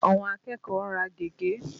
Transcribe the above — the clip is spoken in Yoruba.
Àwọn akẹ́kọ̀ọ́ ń rà gègé.